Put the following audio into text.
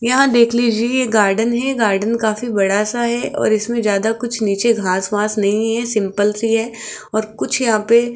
यहां देख लीजिए ये गार्डन है गार्डन काफी बड़ा सा है और इसमें ज्यादा कुछ नीचे घास वास नहीं है सिंपल सी है और कुछ यहां पे --